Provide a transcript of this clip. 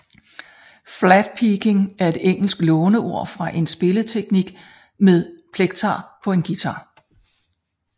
Flatpicking er et engelsk låneord for en spilleteknik med plekter på en guitar